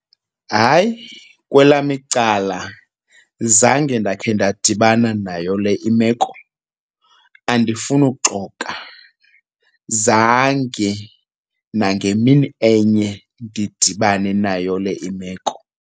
Hayi, kwelam icala zange ndakhe ndadibana nayo le imeko, andifuni uxoka. Zange nangemini enye ndidibane nayo le imeko.